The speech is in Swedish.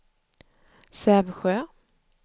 Sävsjö